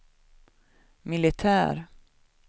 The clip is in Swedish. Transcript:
militär